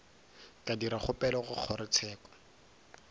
ka dira kgopelo go kgorotsheko